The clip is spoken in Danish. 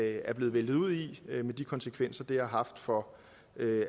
er blevet væltet ud i med de konsekvenser det har haft for